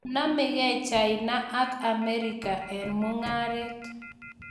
Manamgei China ak Amerika eng mung'aret.